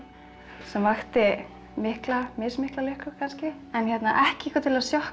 sem vakti mikla mismikla lukku kannski en ekki eitthvað til að